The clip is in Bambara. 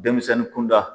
Denmisɛnnin kunda